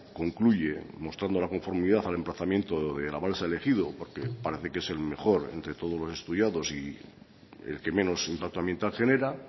concluye mostrando la conformidad al emplazamiento de la balsa elegido porque parece que es el mejor entre todos los estudiados y el que menos impacto ambiental genera